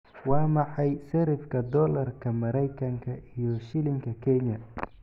Waa maxay sarifka doolarka Maraykanka iyo shilinka Kenya?